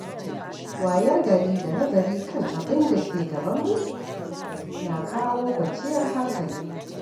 Wayar gari da nazari kan abin da ke gabanmu na kawo kwanciyar hankali.